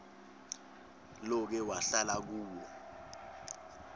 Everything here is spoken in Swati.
loke wahlala kuwo